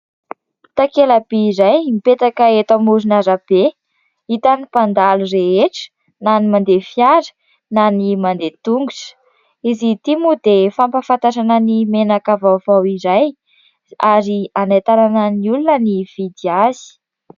Takelaby iray mipetaka eto amoron'arabe, hitan'ny mpandalo rehetra na ny mandeha fiara na ny mandeha tongotra, izy ity moa dia fampahafantarana ny menaka vaovao iray ary hanentanana ny olona hividy azy.